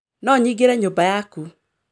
No njingĩre nyũmba ya ku.